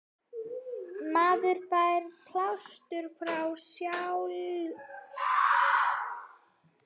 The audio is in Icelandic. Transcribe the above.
Maður fær pásu frá sjálf